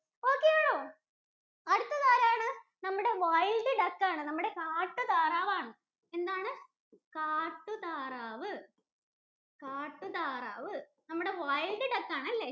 Okay യാണോ? അടുത്തതാരാണ്? നമ്മുടെ wild duck ആണ് നമ്മുടെ കാട്ടുതാറാവാണ്. എന്താണ്? കാട്ടുതാറാവ്. കാട്ടുതാറാവ് നമ്മുടെ wild duck ആണ് അല്ലേ?